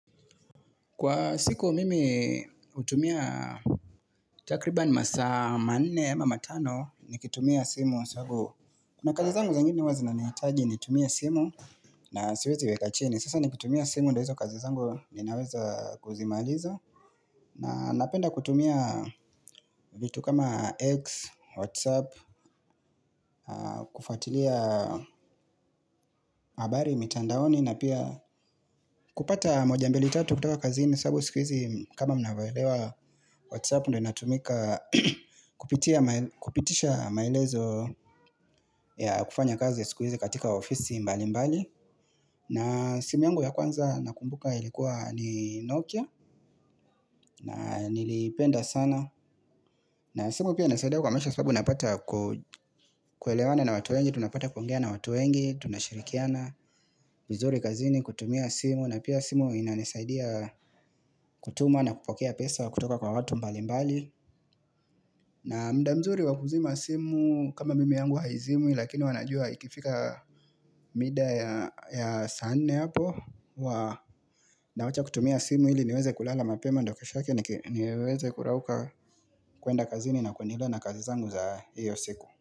Kwa siku mimi hutumia takribani masaa ma nne ama matano ni kitumia simu sangu na kazi zangu za wingi huwa zina nihitaji nitumie simu na siwezi weka chini. Sasa ni kitumia simu ndo hizo kazi zangu zininaweza kuzimaliza na napenda kutumia vitu kama eggs, whatsapp, kufatilia habari mitandaoni na pia kupata moja mbili tatu kutoka kazini sababu siku hizi kama mnavo elewa whatsapp ndio inatumika kupitia ma kupitisha maelezo ya kufanya kazi siku hizi katika ofisi mbali mbali. Na simu yangu ya kwanza nakumbuka ilikuwa ni Nokia na nili ipenda sana. Na simu pia inanisaida kwa maisha sababu napata ku kuelewana na watu wengi, tunapata kuongea na watu wengi, tunashirikiana, vizuri kazini, kutumia simu, na pia simu inanisaidia kutuma na kupokea pesa kutoka kwa watu mbali mbali. Na mda mzuri wa kuzima simu kama mimi yangu haizimwi Lakini wana jua ikifika mida ya ya saa nne hapo huwa na wacha kutumia simu ili niweze kulala mapema ndo kesho yake niki niweze kurauka kuenda kazini na kuendelea na kazi zangu za hiyo siku.